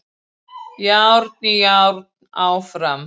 Járn í járn áfram